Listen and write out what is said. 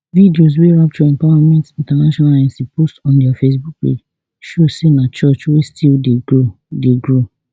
videos wey rapture empowerment intl inc post on dia facebook page show say na church wey still dey grow dey grow